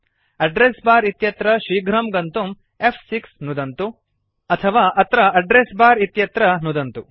address bar इत्यत्र शीघ्रं गन्तुं फ्6 नुदतु अथवा अत्र एड्रेस बार इत्यत्र नुदतु